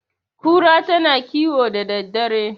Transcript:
kura tana kiwo da daddare